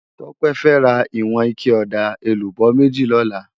Tope fè rá iwòn iké òdá élúbò méjí lòlá